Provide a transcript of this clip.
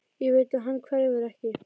Ég veit að hann hverfur ekki.